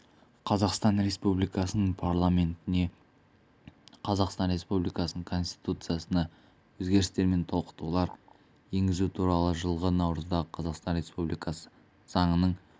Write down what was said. қазақстан республикасының парламентіне қазақстан республикасының конституциясына өзгерістер мен толықтырулар енгізу туралы жылғы наурыздағы қазақстан республикасы заңының